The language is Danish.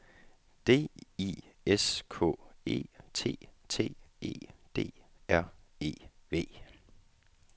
D I S K E T T E D R E V